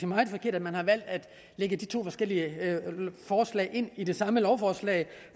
meget forkert at man har valgt at lægge de to forskellige forslag ind i det samme lovforslag